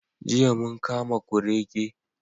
Jiya mun kama kurege.